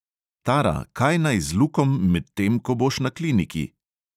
Tara, kaj naj z lukom, medtem ko boš na kliniki?